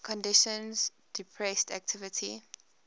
conditions depressed activity